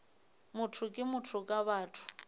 motho ke motho ka batho